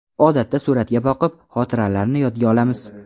Odatda suratga boqib, xotiralarni yodga olamiz.